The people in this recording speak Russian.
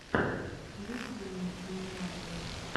выведи мне эмуайи